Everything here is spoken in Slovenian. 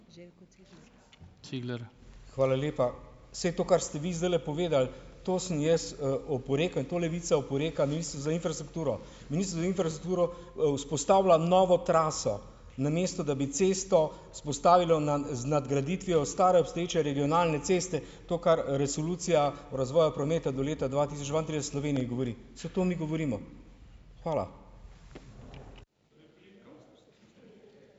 Hvala lepa. Saj to, kar ste vi zdajle povedali, to sem jaz, oporekal in to Levica oporeka. Ministrstvo za infrastrukturo, Ministrstvo za infrastrukturo, vzpostavlja novo traso, namesto da bi cesto vzpostavilo na, z nadgraditvijo stare obstoječe regionalne ceste, to, kar resolucija o razvoju prometa do leta dva tisoč dvaintrideset v Sloveniji govori. Saj to mi govorimo. Hvala.